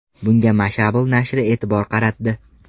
Bunga Mashable nashri e’tibor qaratdi .